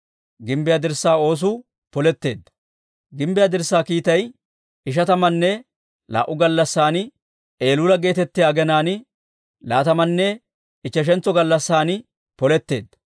Gimbbiyaa dirssaa kiitay ishatamanne laa"u gallassan, Eluula geetettiyaa aginaan laatamanne ichcheshantso gallassan poletteedda.